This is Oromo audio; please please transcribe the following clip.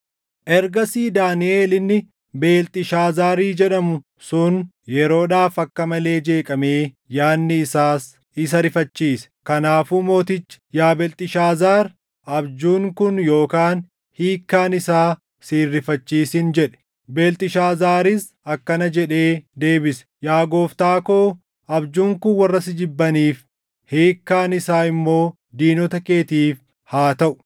Ergasii Daaniʼel inni Beelxishaazaari jedhamu sun yeroodhaaf akka malee jeeqamee yaadni isaas isa rifachiise. Kanaafuu mootichi, “Yaa Beelxishaazaar, abjuun kun yookaan hiikkaan isaa si hin rifachiisin” jedhe. Beelxishaazaaris akkana jedhee deebise; “Yaa gooftaa koo abjuun kun warra si jibbaniif, hiikkaan isaa immoo diinota keetiif haa taʼu!